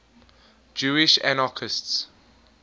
jewish anarchists